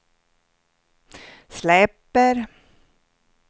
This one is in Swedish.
släpper